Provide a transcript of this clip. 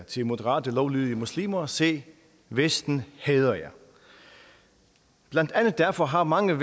til moderate lovlydige muslimer se vesten hader jer blandt andet derfor har mange